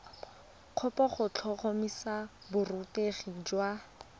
kopo go tlhotlhomisa borutegi jwa